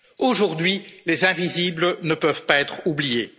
en Europe. Aujourd'hui, les invisibles ne peuvent pas être